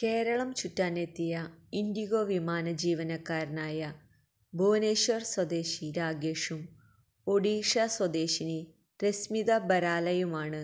കേരളം ചുറ്റാനെത്തിയ ഇൻഡിഗോ വിമാന ജീവനക്കാരനായ ഭുവനേശ്വർ സ്വദേശി രാഗേഷും ഒഡീഷ സ്വദേശിനി രസ്മിത ബരാലയുമാണ്